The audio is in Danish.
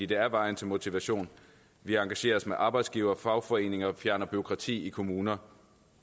det er vejen til motivation vi engagerer os med arbejdsgivere og fagforeninger og fjerner bureaukrati i kommuner